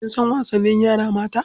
Kin san wasannin yara mata?